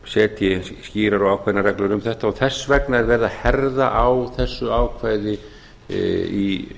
setji skýrar og ákveðnar reglur um þetta og þess vegna er verið að herða á þessu ákvæði í